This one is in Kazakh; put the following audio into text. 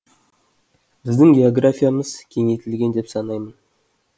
біздің географиямыз кеңейтілген деп санаймын